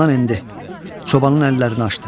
çobanın əllərini açdı.